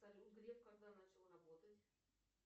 салют греф когда начал работать